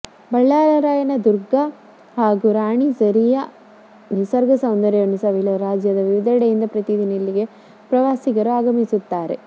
ಬಲ್ಲಾಳರಾಯನ ದುರ್ಗ ಮತ್ತು ರಾಣಿಝರಿಯ ನಿಸರ್ಗ ಸೌಂದರ್ಯವನ್ನು ಸವಿಯಲು ರಾಜ್ಯದ ವಿವಿದೆಡೆಯಿಂದ ಪ್ರತಿದಿನ ಇಲ್ಲಿಗೆ ಪ್ರವಾಸಿಗರು ಆಗಮಿಸುತ್ತಾರೆ